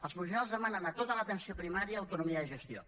els professionals demanen a tota l’atenció primària autonomia de gestió